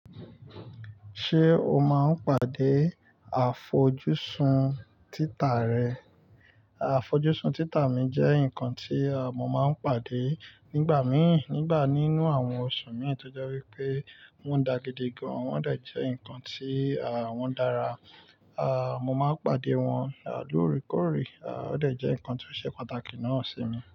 Ṣé o máa ń pàdé àfojúsùn títà rẹ? Àfojúsùn títà mi jẹ́ nǹkan tí mo máa ń pàdé nígbà míì, nígbà nínú àwọn oṣù míì, tojẹ́ wípé wọ́n dàgidi gan, wọ́n de jẹ́ ǹkan tí, àh, wọ́n dára. Àh, mo máa ń pàdé wọ́n lóòrèkóòrè. Àh, ó de jẹ́ ǹkan tó ṣe pàtàkì náà sí mi.